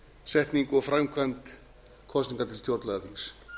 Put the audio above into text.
framsetningu og framkvæmd kosninga til stjórnlagaþings